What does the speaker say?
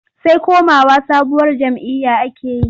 Sai komawa sabuwar jam'iyya ake yi.